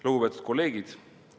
Lugupeetud kolleegid!